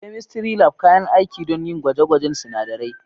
Chemistry Lab: Kayan aiki don yin gwaje-gwajen sunadarai.